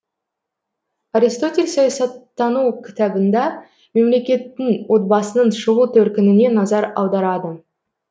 аристотель саясаттану кітабында мемлекеттің отбасының шығу төркініне назар аударады